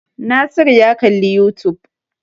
Nasiru ya kalli youtube.